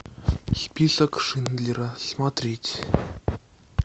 список шиндлера смотреть